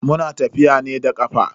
Muna tafiya ne da kafa.